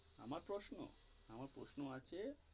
আমার প্রশ্ন আমার প্রশ্ন আছে.